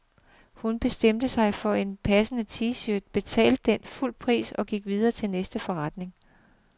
Hun bestemte sig for en passende t-shirt, betalte den fulde pris og gik videre til næste forretning.